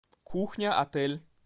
кухня отель